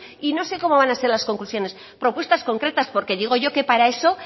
y no sé cómo van a ser las conclusiones propuestas concretas porque digo yo que para eso